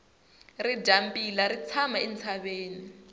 ridyambila ri tshama entshaveni